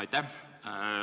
Aitäh!